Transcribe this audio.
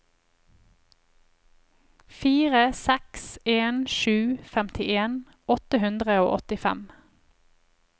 fire seks en sju femtien åtte hundre og åttifem